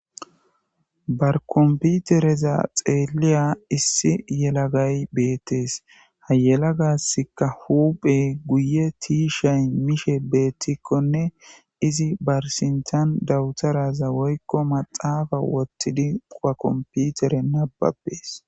Barkomputereza xeeliya issi yelagay beettees hayela gasska huphe guye tiishay mishe beettikkonne izi barsintan dawutaraza woykko maxaafa wottidi qowa komputere nababees.